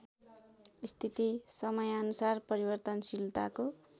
स्थिति समयानुसार परिवर्तनशीलताको